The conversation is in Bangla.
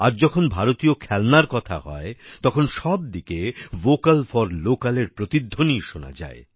আজ যখন ভারতীয় খেলনার কথা হয় তখন সব দিকে ভোকাল ফর লোকাল এর প্রতিধ্বনিই শোনা যায়